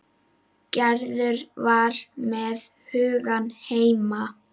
Gerður var með hugann heima.